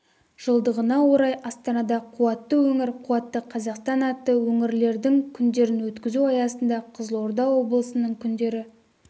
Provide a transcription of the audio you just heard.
жылдығына орай астанада қуатты өңір қуатты қазақстан атты өңірлердің күндерін өткізу аясында қызылорда облысының күндері